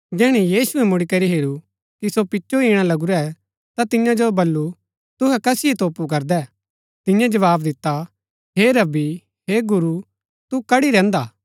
जैहणै यीशुऐ मुड़ीकरी हेरू कि सो पिचो ईणा लगुरै ता तियां जो वलू तुहै कसिओ तोपु करदै तियें जवाव दिता हे रब्बी हे गुरू तू कड्ड़ी रैहन्दा हा